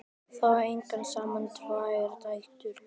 Þau eiga saman tvær dætur.